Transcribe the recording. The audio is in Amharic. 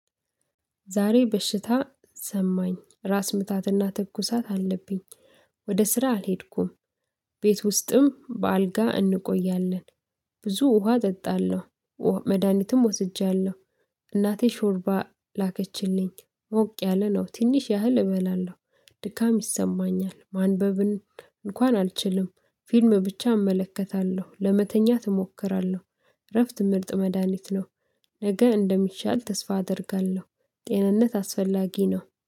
ዛሬ በሽታ ሰማኝ ራስ ምታትና ትኩሳት አለብኝ ወደ ስራ አልሄድኩም። ቤት ውስጥም በአልጋ እንቆያለን፤። ብዙ ውሃ እጠጣለሁ። መድሃኒትም ወስጃለሁ፤። እናቴ ሾርባ ላከችልኝ ሞቅ ያለ ነው ትንሽ ያህል እበላለሁ። ድካም ይሰማኛል ማንበብን እንኳን አልችልም። ፊልም ብቻ እመለከታለሁ ለመተኛት እሞክራለሁ። እረፍት ምርጥ መድሃኒት ነው። ነገ እንደሚሻል ተስፋ አደርጋለሁ። ጤንነት አስፈላጊ ነው